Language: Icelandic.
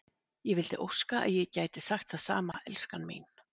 Ég vildi óska að ég gæti sagt það sama, elskan mín.